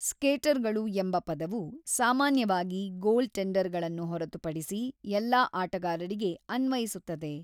ಸ್ಕೇಟರ್‌ಗಳು ಎಂಬ ಪದವು ಸಾಮಾನ್ಯವಾಗಿ ಗೋಲ್‌ಟೆಂಡರ್‌ಗಳನ್ನು ಹೊರತುಪಡಿಸಿ ಎಲ್ಲಾ ಆಟಗಾರರಿಗೆ ಅನ್ವಯಿಸುತ್ತದೆ.